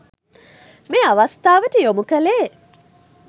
මේ අවස්ථාවට යොමු කළේ.